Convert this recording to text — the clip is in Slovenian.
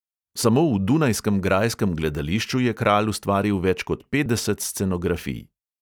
Samo v dunajskem grajskem gledališču je kralj ustvaril več ko petdeset scenografij.